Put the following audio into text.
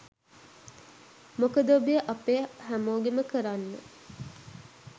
මොකද ඔබේ අපේ හැමෝගෙම කරන්න